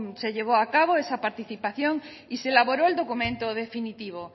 se llevó acabo esa participación y se elaboró el documento definitivo